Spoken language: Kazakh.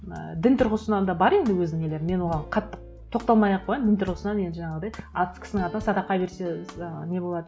і дін тұрғысынан да бар енді өз нелері мен оған қатты тоқталмай ақ қояйын дін тұрғысынан енді жаңағыдай кісінің атынан садақа берсе ы не болады